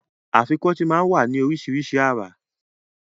Afikọ́tì máa ń wá ní àrà oríṣiríṣi